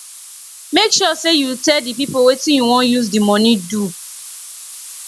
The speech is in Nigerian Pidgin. make sure say you tell di pipo wetin you won use di money do